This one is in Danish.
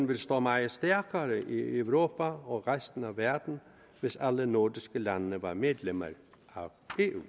ville stå meget stærkere i europa og resten af verden hvis alle nordiske lande var medlemmer af eu